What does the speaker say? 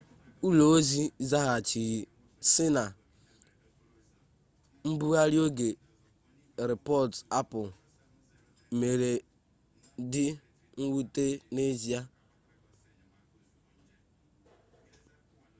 ụlọ ozi zaghachiri sị na mbugharị oge rịpọt apple mere dị mwute n'ezie